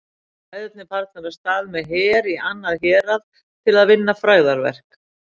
Við bræðurnir farnir af stað með her í annað hérað til að vinna frægðarverk.